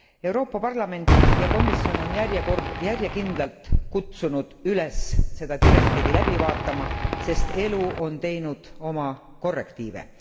Euroopa Parlament ja komisjon on järjekindlalt kutsunud üles seda direktiivi läbi vaatama, sest elu on teinud oma korrektiive.